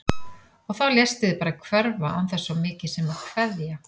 Og þá léstu þig bara hverfa án þess svo mikið sem að kveðja!